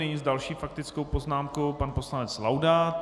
Nyní s další faktickou poznámkou pan poslanec Laudát.